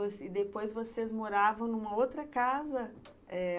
E depois vocês moravam numa outra casa? é